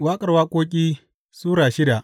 Waƙar Waƙoƙi Sura shida